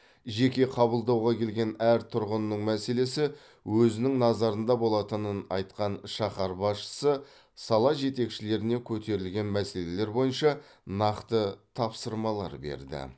жеке қабылдауға келген әр тұрғынның мәселесі өзінің назарында болатынын айтқан шаһар басшысы сала жетекшілеріне көтерілген мәселелер бойынша нақты тапсырмалар берді